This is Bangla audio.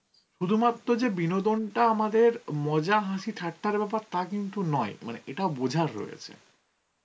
শুধুমাত্র হচ্ছে বিনোদনটা আমাদের মজা, হাসি, ঠাট্টার ব্যাপার তা কিন্তু নয়. মানে এটাও বোঝার রয়েছে.